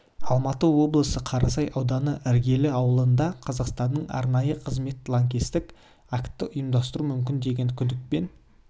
алматы облысы қарасай ауданы іргелі ауылында қазақстанның арнайы қызметі лаңкестік акті ұйымдастыруы мүмкін деген күдікпен